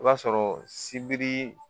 I b'a sɔrɔ sibiri